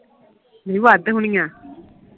ਦੀਦੀ ਵੱਧ ਹੋਣੀਆਂ